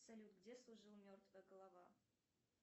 салют где служил мертвая голова